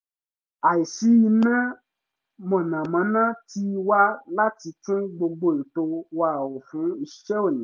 àìsí iná mọ̀nàmọ́ná tì wá láti tún gbogbo ètò wa rò fún iṣẹ́ òní